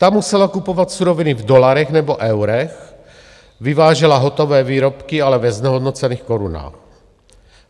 Ta musela kupovat suroviny v dolarech nebo eurech, vyvážela hotové výrobky, ale ve znehodnocených korunách.